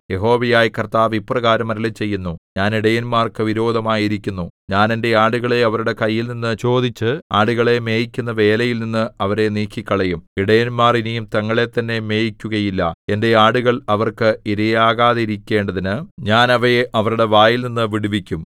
യഹോവയായ കർത്താവ് ഇപ്രകാരം അരുളിച്ചെയ്യുന്നു ഞാൻ ഇടയന്മാർക്കു വിരോധമായിരിക്കുന്നു ഞാൻ എന്റെ ആടുകളെ അവരുടെ കൈയിൽനിന്നു ചോദിച്ച് ആടുകളെ മേയിക്കുന്ന വേലയിൽനിന്ന് അവരെ നീക്കിക്കളയും ഇടയന്മാർ ഇനി തങ്ങളെത്തന്നെ മേയിക്കുകയില്ല എന്റെ ആടുകൾ അവർക്ക് ഇരയാകാതെയിരിക്കേണ്ടതിന് ഞാൻ അവയെ അവരുടെ വായിൽനിന്നു വിടുവിക്കും